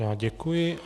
Já děkuji.